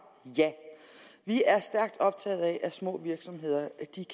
ja vi er stærkt optaget af at små virksomheder